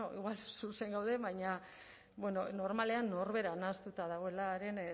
igual zuzen gaude baina normalean norbera nahastuta dagoen